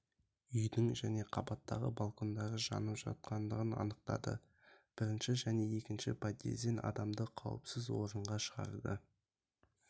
үйдің және қабаттағы балкондары жанып жатқандығын анықтады бірінші және екінші подъезден адамды қауіпсіз орынға шығарды